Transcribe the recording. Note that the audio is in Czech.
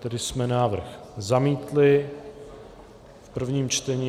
Tedy jsme návrh zamítli v prvním čtení.